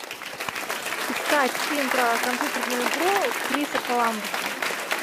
искать фильм про компьютерную игру криса коламбуса